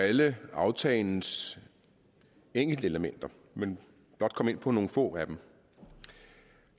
alle aftalens enkeltelementer men blot komme ind på nogle få af dem